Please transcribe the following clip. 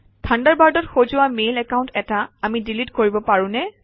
থাণ্ডাৰবাৰ্ডত সজোৱা mail account এটা আমি ডিলিট কৰিব পাৰোঁ নে